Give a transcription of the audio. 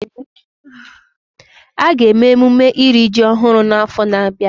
A ga-eme emume iri ji ọhụrụ n'afọ na-abịa